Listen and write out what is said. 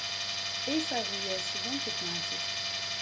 эйфория сезон пятнадцать